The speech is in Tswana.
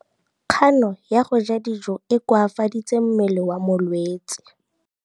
Kganô ya go ja dijo e koafaditse mmele wa molwetse.